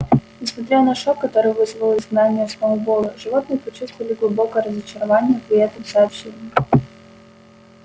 несмотря на шок который вызвало изгнание сноуболла животные почувствовали глубокое разочарование при этом сообщении